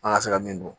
An ka se ka min don